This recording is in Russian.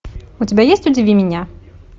у тебя есть удиви меня